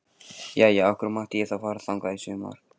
Jæja, af hverju mátti ég þá fara þangað í sumar?